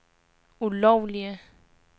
ulovlige